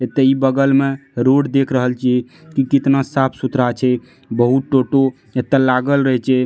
ऐ ते इ बगल में रोड देख रहल छिये की कितना साफ़-सुथरा छे बहुत टोटो एत्त लागल रहल छे।